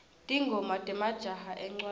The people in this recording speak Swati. tingoma temajaha encwaleni